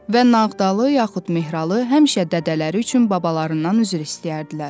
Və Nağdalı yaxud Mehralı həmişə dədələri üçün babalarından üzr istəyərdilər.